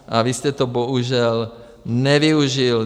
A vy jste to bohužel nevyužil.